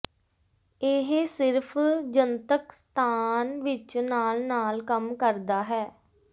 ਇਹ ਸਿਰਫ ਜਨਤਕ ਸਥਾਨ ਵਿੱਚ ਨਾਲ ਨਾਲ ਕੰਮ ਕਰਦਾ ਹੈ